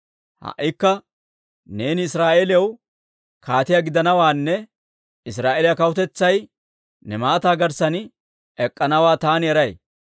Ha"ikka neeni Israa'eeliyaw kaatiyaa gidanawaanne Israa'eeliyaa kawutetsay ne maataa garssan ek'k'anawaa taani eray.